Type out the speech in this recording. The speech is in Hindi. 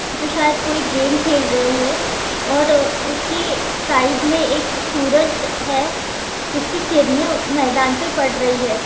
जो शायद कोई गेम खेल रहे हैं और उसके साइड में एक सूरज है जिसकी किरणें मैदान में पड़ रही है।